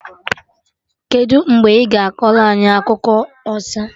Kedụ mgbe ị ga akọrọ anyị akụkọ ọsa?